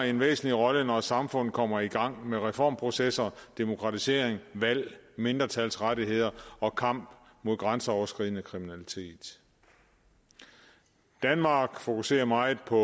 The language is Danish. en væsentlig rolle når samfundet kommer i gang med reformprocesser demokratisering valg mindretalsrettigheder og kamp mod grænseoverskridende kriminalitet danmark fokuserer meget på